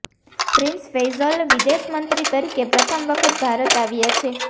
prince Faisal વિદેશ મંત્રી તરીકે પ્રથમ વખત ભારત આવ્યા છે